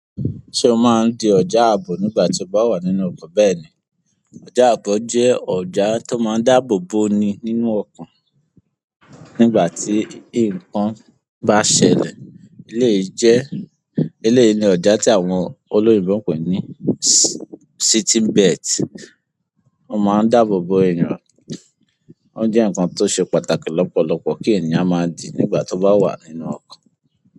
Ṣé o máa ń di ọ̀já àaboò nígbà tí o bá wà nínú ọkọ̀? Bẹ́ẹ̀ ni, ọ̀já àbò jẹ́ ọ̀já tó máa ń dáàbò bo ni nínú ọkọ̀ nígbà tí nǹkan bá ṣẹlẹ̀. Eleyìí jẹ́, ilé yìí ni ọ̀já tí àwọn olóyinbo ń pè ní sitting bet. Ó máa ń dáàbò bo èèyàn. Ó jẹ́ nǹkan tó ṣe pàtàkì lọ́pọ̀lọpọ̀ kí ènìyàn máa dí nígbà tó bá wà nínú ọkọ̀.